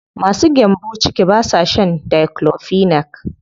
Masu gyambo ciki ba sa shan diclofenac.